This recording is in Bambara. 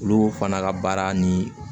Olu fana ka baara ni